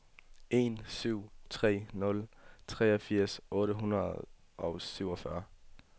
en syv tre nul treogfirs otte hundrede og syvogfyrre